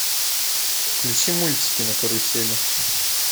включи мультики на карусели